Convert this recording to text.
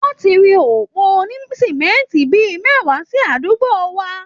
Wọ́n ti ri òpó onísímẹ́ńtì bí i mẹ́wàá sí àdúgbo wa